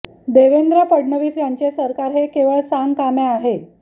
देवेंद्र फडणवीस यांचे सरकार हे केवळ सांगकाम्या आहे